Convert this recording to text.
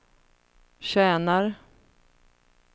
tjänar